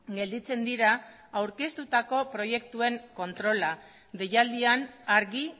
gelditzen dira aurkeztutako proiektuen kontrola deialdian argi